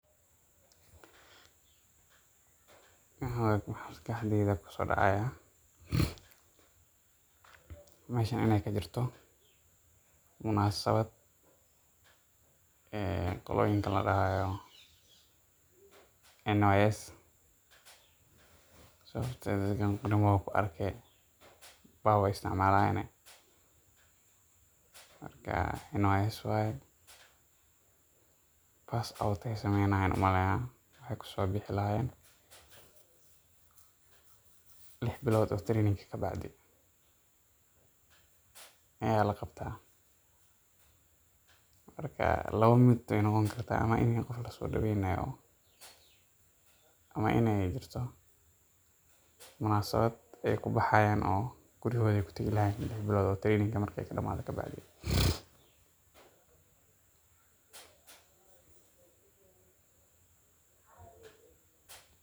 waxa waya waxa maskaxdeyda kuso dacaya meshan inay kajirto munasabad e qoloyinka ladahaayo NYS sababteda ragan Qoryo kumaba arkaya baaw aay isticmalan marka NYS waya [cd] passed out ayay sameynayan an umaleeya waxay kusobixi lahayeen 6 billod o training kabaacdi aya laqabta marka 2 mid waya waynoqon karta in qaf laso daweynaayo ama iney jirto Munasabad kubaxayan o guriga hoyadood kutagi lahayeen. 6 bilood o training kabaadi